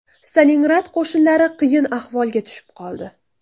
Stalingrad qo‘shinlari qiyin ahvolga tushib qoldi.